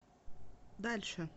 дальше